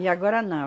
E agora, não.